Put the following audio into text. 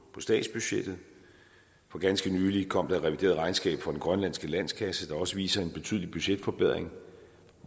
statsbudgettet for ganske nylig kom der et revideret regnskab for den grønlandske landskasse der også viser en betydelig budgetforbedring